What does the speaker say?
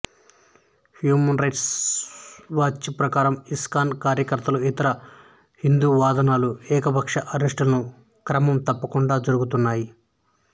human Rights Watch ప్రకారం ISKCON కార్యకర్తలు ఇతర హిందూవాదుల ఏకపక్ష అరెస్టులు క్రమం తప్పకుండా జరుగుతున్నాయి